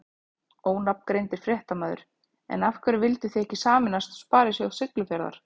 Ónafngreindur fréttamaður: En af hverju vildu þið ekki sameinast Sparisjóð Siglufjarðar?